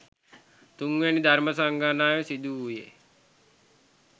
3 වැනි ධර්ම සංගායනාව සිදු වූයේ